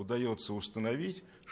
удаётся установить